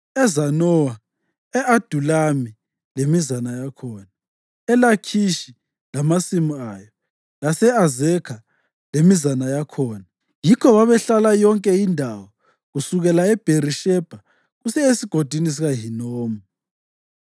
eZanowa, e-Adulami lemizana yakhona, eLakhishi lamasimu ayo, lase-Azekha lemizana yakhona. Yikho babehlala yonke indawo kusukela eBherishebha kusiya eSigodini sikaHinomu.